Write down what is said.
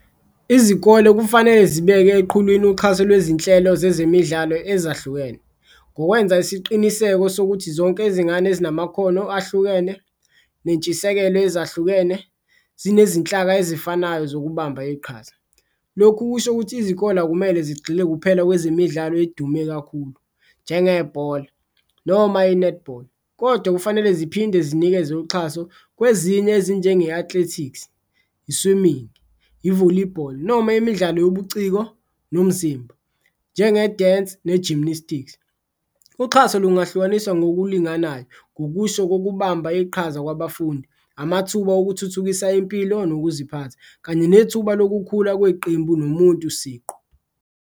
Izikole kufanele zibeke eqhulwini uxhaso lwezinhlelo zezemidlalo ezahlukene ngokwenza isiqiniseko sokuthi zonke izingane ezinamakhono ahlukene, nentshisekelo ezahlukene zinezinhlaka ezifanayo zokuhamba iqhaza. Lokhu kusho ukuthi izikole akumele zigxile kuphela kwezemidlalo edume kakhulu njengebhola noma i-netball, kodwa kufanele ziphinde zinikeze uxhaso kwezinye ezinjenge-athletics, i-swimming, i-volleyball noma imidlalo yobuciko nomzimba njenge-dance ne-gymnastics. Uxhaso lungahlukaniswa ngokulinganayo ngokusho kokubamba iqhaza kwabafundi, amathuba okuthuthukisa impilo nokuziphatha, kanye nethuba lokukhula kweqembu nomuntu siqu.